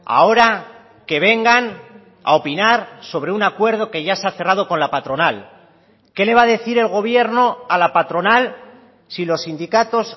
ahora que vengan a opinar sobre un acuerdo que ya se ha cerrado con la patronal qué le va a decir el gobierno a la patronal si los sindicatos